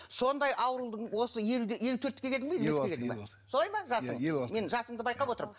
сондай аурудың осы елуге елу төртке келдің бе елу алты елу алты солай ма жасың елу алты мен жасыңды байқап отырмын